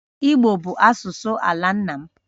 Igbo bụ asụsụ ala nna m